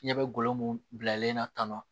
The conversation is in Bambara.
Fiɲɛ bɛ golo mun bilalen na tannɔn